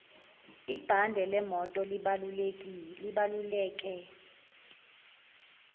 ibhande lemoto libaluleke